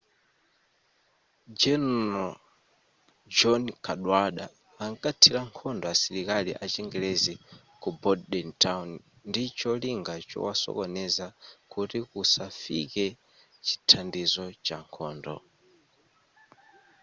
general john cadwalder ankathila nkhondo asilikali achingelezi ku bordentown ndi cholinga chowasokoneza kuti kusafikae chithandizo cha nkhondo